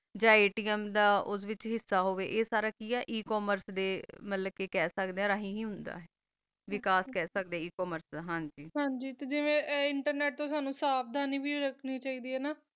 ਜਾ ਓਸ ਵਿਤਚ ਹਿਸਾ ਹੋ ਵ ਸਾਰਾ ਕੀ ਆ ਏ ਕਾਮਰਸ ਤਾ ਖਾ ਸਕਦਾ ਆ ਮਤਲਬ ਕਾ ਰਹੀਮ ਬੇਕੈਉਸੇ ਖਾ ਸਕਦਾ ਆ ਏ ਕਾਮਰਸ ਹਨ ਜੀ ਜੀਵਾ ਕਾ internet ਤਾ ਸਵ੍ਦਾਨੀ ਵੀ ਰਖਨੀ ਚੀ ਦੀ ਆ